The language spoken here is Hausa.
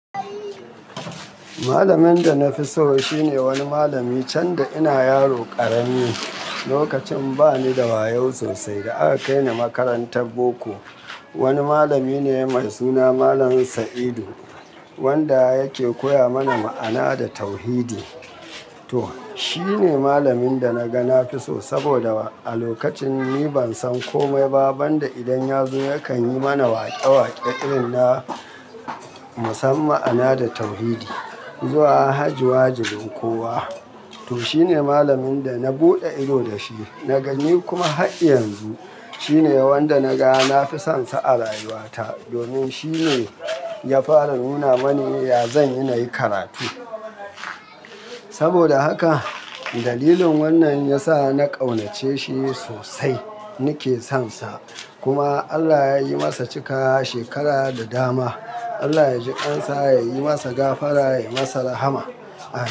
Malamin da na fi so shine wani malami, can da ina yaro ƙarami, lokacin bani da wayau sosai da aka kai ni makarantar boko. Wani malami ne mai suna Malam Sa'idu wanda yake koya mana ma'ana da tauhidi. To, shi ne malamin da na ga na fi so saboda wa a lokacin ni ban san komai ba banda idan ya zo yakan yi mana waƙe-waƙe irin na mu san ma'ana da tauhidi. Zuwa haji wajibin kowa. To, shi ne malamin da na buɗe ido da shi, naga ni kuma har yanzu shi ne wanda na ga na fi son sa a rayuwata domin shi ne ya fara nuna mani ya zan yi nayi karatu. Saboda haka dalilin wannan ya sa na ƙaunace shi sosai, nike son sa. Kuma Allah yayi masa cikawa shekara da dama. Allah yaji ƙan sa, yayi masa gafara yayi masa rahama. A.